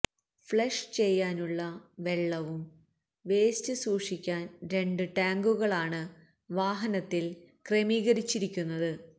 flush ചെയ്യാനുള്ള വെള്ളവും വെയ്സ്റ്റും സൂക്ഷിക്കാൻ രണ്ട് ടാങ്കുകളാണ് വാഹനത്തിൽ ക്രമീകരിച്ചിരിക്കുന്നത്